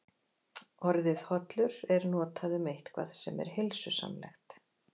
Orðið hollur er notað um eitthvað sem er heilsusamlegt.